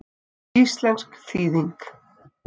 Íslensk þýðing